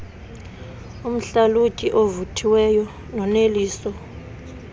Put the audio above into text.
umhlalutyi ovuthiweyo noneliso